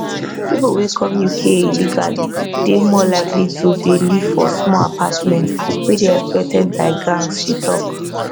pipo wey come uk illegally dey more likely to dey live for small apartments wey dey exploited by gangs she tok